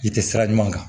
I tɛ sira ɲuman kan